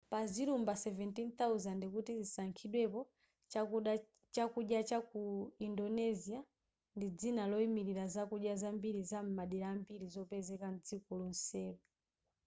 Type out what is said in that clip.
pa zilumba 17000 kuti zisankhidwepo chakudya cha ku indonesia ndi dzina loyimilira zakudya zambiri zam'madera ambiri zopezeka mdziko lonselo